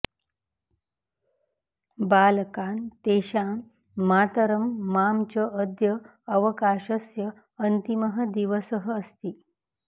बालाकान् तेषां मातरं मां च अद्य अवकाशस्य अन्तिमः दिवसः अस्ति